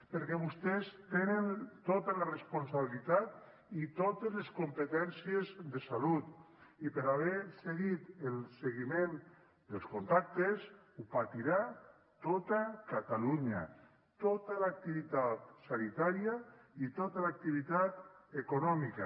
perquè vostès tenen tota la responsabilitat i totes les competències de salut i per no haver seguit el seguiment dels contactes ho patirà tota catalunya tota l’activitat sanitària i tota l’activitat econòmica